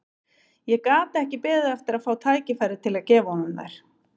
Ég gat ekki beðið eftir að fá tækifæri til að gefa honum þær.